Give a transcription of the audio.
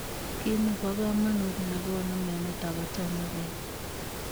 Kiit nepo kamanuut negonuu mionitok kotomo kenai.